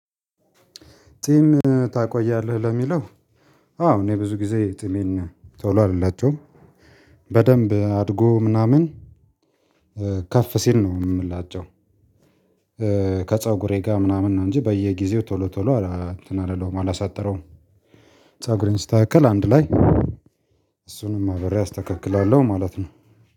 ጺም ታቆያለህ ለሚለው? አዎ እኔ ብዙ ጊዜ ጭሜን ቶሎ አልላጨውም። በደንብ አድጎ ምናምን ከፍ ሲል ነው የምላጨው። ጋር ምናምን ነው እንጂ በየጊዜው ቶሎ ቶሎ አላሳጥረውም። ፀጉሬን ስስተካከል አንድ ላይ እሱንም አብሬ አስተካክላለሁ ማለት ነው።